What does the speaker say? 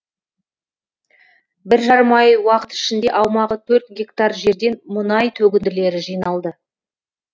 бір жарым ай уақыт ішінде аумағы төрт гектар жерден мұнай төгінділері жиналды